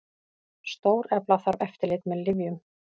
Stórefla þarf eftirlit með lyfjum